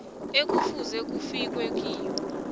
ekufuze kufikwe kiyo